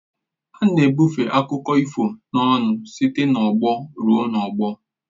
A na-ebufe akụkọ ifo n'ọnụ site n'ọgbọ ruo n'ọgbọ